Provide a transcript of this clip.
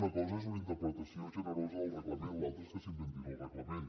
una cosa és una interpretació generosa del reglament l’altra és que s’inventin el reglament